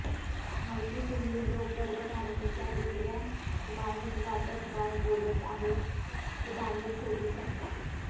माहिती तुम्ही लोक गर्भधारणेच्या दुसऱ्या तिमाहीत वाटप काय बोलत आहेत ते बाहेर शोधू शकता